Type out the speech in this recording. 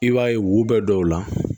I b'a ye wo bɛ dɔw la